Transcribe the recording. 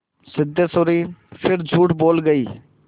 सिद्धेश्वरी फिर झूठ बोल गई